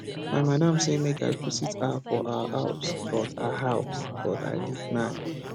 my madam sey make i visit her for her house but her house but i decline